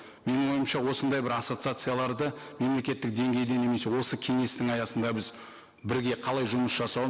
менің ойымша осындай бір ассоциацияларды мемлекеттік деңгейде немесе осы кеңестің аясында біз бірге қалай жұмыс жасау